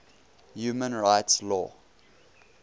human rights law